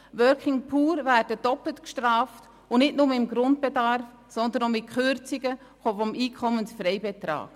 «Working Poor» werden doppelt bestraft, nicht nur beim Grundbedarf, sondern auch mit Kürzungen des EFB.